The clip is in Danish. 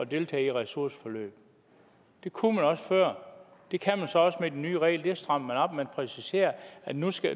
deltage i ressourceforløb det kunne man også før det kan man så også med de nye regler det strammer man op man præciserer at nu skal